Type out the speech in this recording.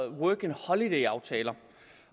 working holiday aftaler